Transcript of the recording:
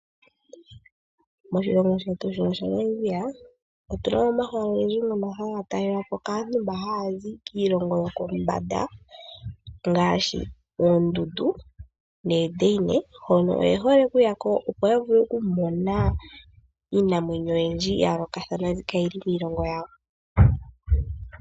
Moshilongo shetu Namibia otunamo omahala ogendji ngono haga talelwapo kaantu mba haya zi kiilongo yokombanda ngaashi oondundu noodeine hono oyehole okuyako opo yavule okumona iinamwenyo oyindji yayolokathana mbi kayili miilongo yawo.